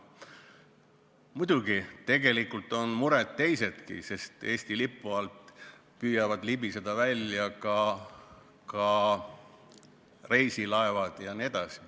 Muidugi, tegelikult on muresid teisigi, sest Eesti lipu alt püüavad välja libiseda ka reisilaevad.